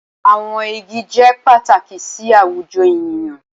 Awọn igi jẹ pataki si awujọ eniyan